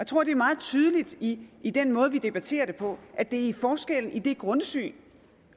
tror det er meget tydeligt i i den måde vi debatterer det på at det er i forskellen i det grundsyn